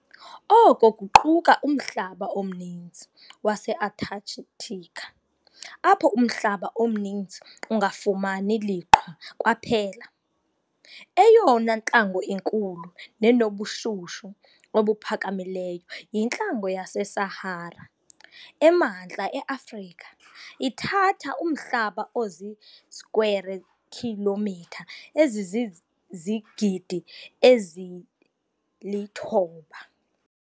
Oko kuquka umhlaba omninzi waseAntarctica, apho umhlaba omninzi ungafumani liqhwa kwaphela. Eyona ntlango inkulu nenobushushu obuphakamileyo yintlango yaseSahara, emantla eAfrica, ithatha umhlaba ozii square kilomitha ezizizigidi ezili-9.